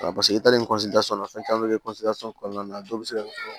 i taalen na fɛn caman bɛ kɛ kɔnɔna na a dɔw bɛ se ka fɔ